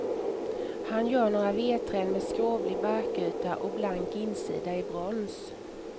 Han gör några vedträn med skrovlig barkyta och blank insida i brons.